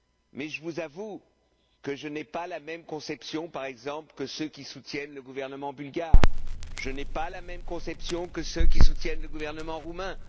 Mais je vous avoue que je n'ai pas la même conception, par exemple, que ceux qui soutiennent le gouvernement bulgare. Je n'ai pas la même conception que ceux qui soutiennent le gouvernement roumain.